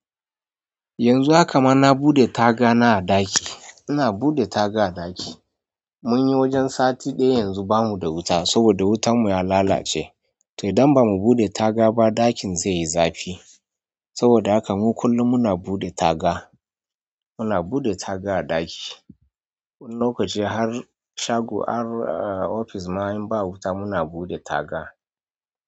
Yanzu haka ma na buɗe taga na a ɗaki. Ina buɗe taga a ɗaki. Munyi wajen sati ɗaya yanzu ba mu da wuta saboda wutan mu ya lalace to idan ba mu buɗe taga ba ɗakin zai yi zafi. Saboda haka mu kullum muna buɗe taga. Muna buɗe taga a ɗaki. Wani lokaci har shago, har ofis ma in ba wuta muna buɗe taga.